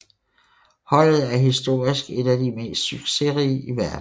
Holdet er historisk et af de mest succesrige i verden